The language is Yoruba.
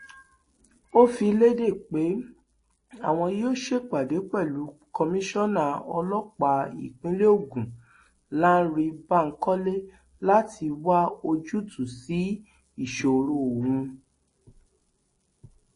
ó fi lédè pé àwọn yóò ṣèpàdé pẹlú komisanna ọlọpàá ìpínlẹ ogun lánrè bankole láti wá ojútùú sí ìṣòro ọhún